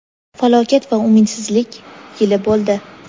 falokat va umidsizlik yili bo‘ldi.